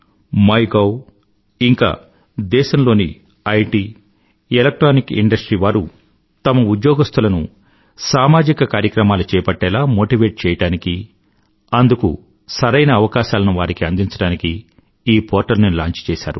MyGov ఇంకా దేశంలోని IT electronic industry వారు తమ ఉద్యోగస్తులను సామాజిక కార్యక్రమాలు చేపట్టేలా మోటివేట్ చెయ్యడానికీ అందుకు సరైన అవకాశాలను వారికి అందించడానికీ ఈ పోర్టల్ ని లాంచ్ చేశారు